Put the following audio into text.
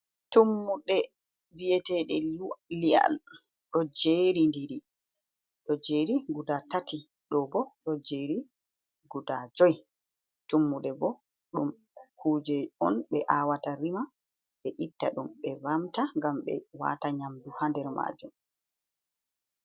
"Tummuɗe" vi’etede liyal ɗo jeri ɗiri. Ɗo jeri guda tati ɗo bo ɗo jeri guda juyi. Tummuɗe bo ɗum kuje on ɓe awata rima ɓe itta ɗum ɓe vamta ngam ɓe wata nyamdu ha nder majum.